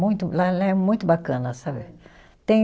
Muito, lá é, lá é muito bacana, sabe? Tem